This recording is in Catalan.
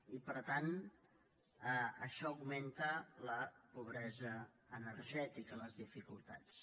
i per tant això augmenta la pobresa energètica les dificultats